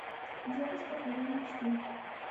девушка твоей мечты